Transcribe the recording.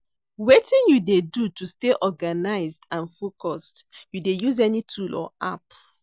Wetin you dey do to stay organized and focused, you dey use any tool or app?